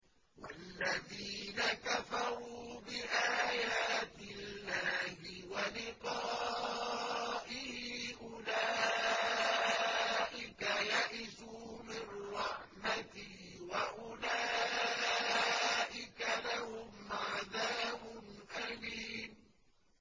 وَالَّذِينَ كَفَرُوا بِآيَاتِ اللَّهِ وَلِقَائِهِ أُولَٰئِكَ يَئِسُوا مِن رَّحْمَتِي وَأُولَٰئِكَ لَهُمْ عَذَابٌ أَلِيمٌ